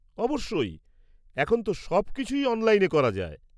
অবশ্যই! এখন তো সবকিছুই অনলাইনে করা যায়।